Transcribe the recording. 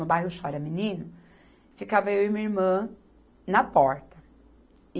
No bairro Chora Menino, ficava eu e minha irmã na porta.